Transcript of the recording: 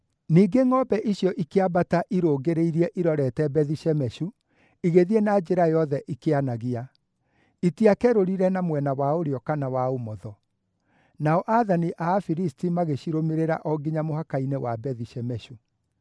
Ningĩ ngʼombe icio ikĩambata irũngĩrĩirie irorete Bethi-Shemeshu, igĩthiĩ na njĩra yothe ikĩanagia; itiakerũrire na mwena wa ũrĩo kana wa ũmotho. Nao aathani a Afilisti magĩcirũmĩrĩra o nginya mũhaka-inĩ wa Bethi-Shemeshu.